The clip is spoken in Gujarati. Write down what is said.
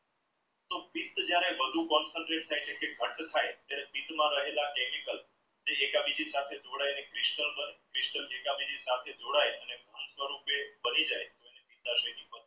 વધુ concentrate થઈ છે રહેલા chemical ને એક બીજા સાથે જોડાયલી